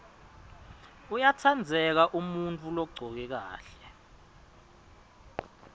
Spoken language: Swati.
uyatsandzeka umuntfu logcoke kahle